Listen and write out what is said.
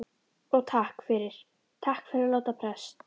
Og takk fyrir. takk fyrir að láta prest.